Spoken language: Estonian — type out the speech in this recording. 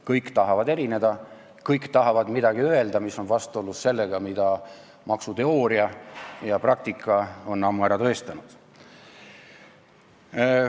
Kõik tahavad erineda, kõik tahavad öelda midagi, mis on vastuolus sellega, mida maksuteooria ja -praktika on ammu ära tõestanud.